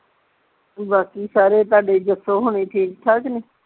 ਬਾਕੀ ਸਾਰੇ ਤੁਹਾਡੇ ਜੱਸੋ ਹੁਣੀ ਠੀਕ ਠਾਕ ਨੇ